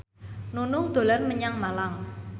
Nunung dolan menyang Malang